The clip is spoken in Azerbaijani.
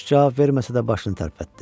Corc cavab verməsə də başını tərpətdi.